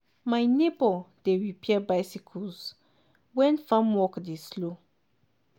my neighbor dey repair bicycles when farm work dey slow.